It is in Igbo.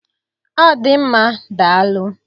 Ọ dị mma, daalụ.